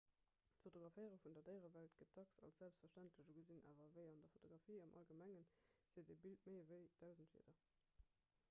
d'fotograféiere vun der déierewelt gëtt dacks als selbstverständlech ugesinn awer ewéi an der fotografie am allgemengen seet e bild méi ewéi dausend wierder